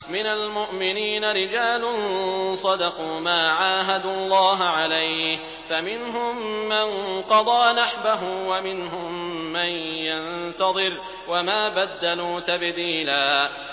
مِّنَ الْمُؤْمِنِينَ رِجَالٌ صَدَقُوا مَا عَاهَدُوا اللَّهَ عَلَيْهِ ۖ فَمِنْهُم مَّن قَضَىٰ نَحْبَهُ وَمِنْهُم مَّن يَنتَظِرُ ۖ وَمَا بَدَّلُوا تَبْدِيلًا